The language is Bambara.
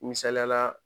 Misaliyala